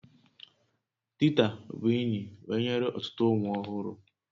Tita bụ enyi wee nyere ọtụtụ ụmụ ọhụrụ